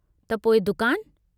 त पोइ दुकान...?